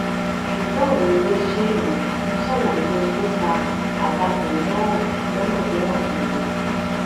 ṣùgbọn àwọn iléiṣé ìròyìn ṣàlàyé ohun tó fa àtakò náà lónà tó hàn kedere